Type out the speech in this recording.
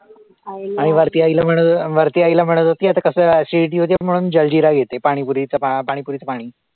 आणि वरती आईला वरती आईला म्हणत होती आता कसं acidity होते म्हणून जलजीरा घेते पाणीपुरी पाणीपुरीचं पाणी